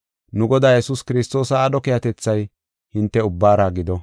Nu Godaa Yesuus Kiristoosa aadho keehatethay hinte ubbaara gido.